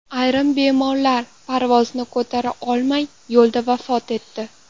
Ayrim bemorlar parvozni ko‘tara olmay, yo‘lda vafot etdi.